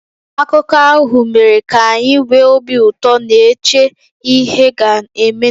Akụkọ ahụ mere ka anyị nwee obi ụtọ, na-eche ihe ga-emenụ.